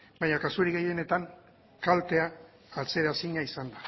baina kasurik gehienetan kaltea atzeraezina izan